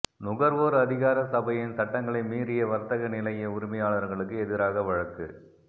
நுகர்வோர் அதிகார சபையின் சட்டங்களை மீறிய வர்த்தக நிலைய உரிமையாளர்களுக்கு எதிராக வழக்கு